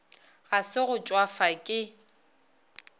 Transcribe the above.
ga se go tšwafa ke